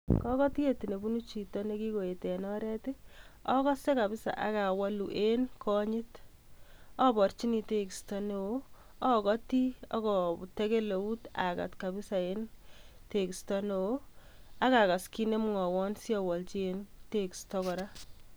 Kogotyet nebunu chito ne kigoet en oret, ogose kabisa ak awoluu en konyit. Aborjini tegisto neo, agoti ak atekel eut agat kabisa en tegisto neo ak agas kit nemwowon asi awolji en tegisto koraa.